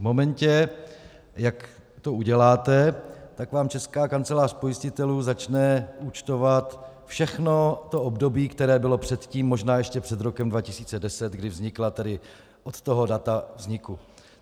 V momentě, jak to uděláte, tak vám Česká kancelář pojistitelů začne účtovat všechno to období, které bylo předtím, možná ještě před rokem 2010, kdy vznikla, tedy od toho data vzniku.